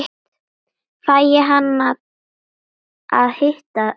Fæ ég að hitta hana?